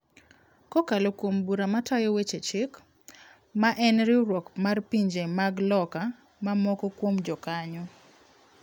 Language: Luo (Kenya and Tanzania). Kokalo kuom Bura Matayo Weche Chik, ma en riwruok mar pinje mag loka ma moko kuom jokanyo.